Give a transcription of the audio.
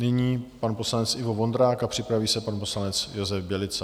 Nyní pan poslanec Ivo Vondrák a připraví se pan poslanec Josef Bělica.